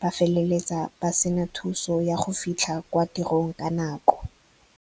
ba feleletsa ba sena thuso ya go fitlha kwa tirong ka nako.